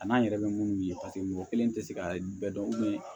A n'an yɛrɛ bɛ minnu ye mɔgɔ kelen tɛ se ka bɛɛ dɔn